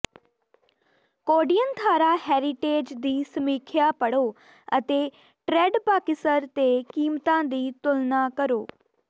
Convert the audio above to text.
Kodianthara heritage ਦੀ ਸਮੀਖਿਆ ਪੜ੍ਹੋ ਅਤੇ ਟ੍ਰੈਡਪਾਕਿਸਰ ਤੇ ਕੀਮਤਾਂ ਦੀ ਤੁਲਨਾ ਕਰੋ